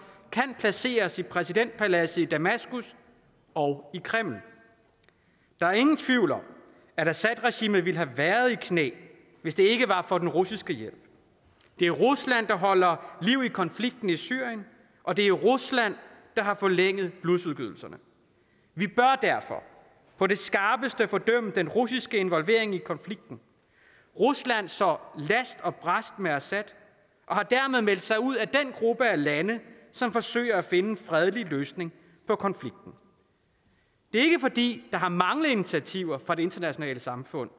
kan placeres i præsidentpaladserne i damaskus og kreml der er ingen tvivl om at assadregimet ville have været tvunget i knæ hvis det ikke var for den russiske hjælp det er rusland der holder liv i konflikten i syrien og det er rusland der har forlænget blodsudgydelserne vi bør derfor på det skarpeste fordømme den russiske involvering i konflikten rusland står last og brast med assad og har dermed meldt sig ud af den gruppe af lande som forsøger at finde en fredelig løsning på konflikten det er ikke fordi der har manglet initiativer fra det internationale samfund